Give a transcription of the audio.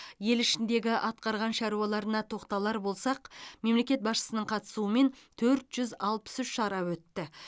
ел ішіндегі атқарған шаруаларына тоқталар болсақ мемлекет басшысының қатысуымен төрт жүз алпыс үш шара өтті